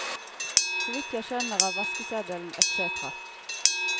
Så vidt jeg skjønner av vaskeseddel etc.